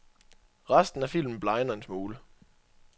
Resten af filmen blegner en smule.